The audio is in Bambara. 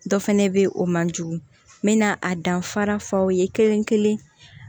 Dɔ fɛnɛ be yen o man jugu a danfara f'aw ye kelen kelen